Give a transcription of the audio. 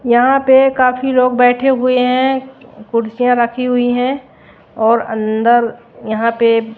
यहां पे काफी लोग बैठे हुए हैं कुर्सियां रखी हुई है और अंदर यहां पे --